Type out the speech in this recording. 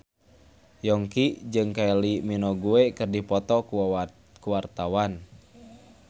Yongki jeung Kylie Minogue keur dipoto ku wartawan